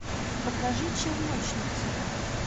покажи челночницы